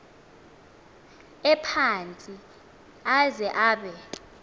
ephantsi aze abe